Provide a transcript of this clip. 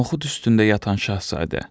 Noxud üstündə yatan Şahzadə.